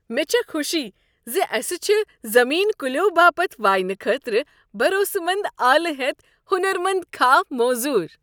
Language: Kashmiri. مےٚ چھےٚ خوشی ز اسہ چھ زمین كُلیو باپت واینہٕ خٲطرٕ بھروسہٕ منٛد آلہٕ ہیتھ ہُنرمنٛد کھاہ موٚزوٗر۔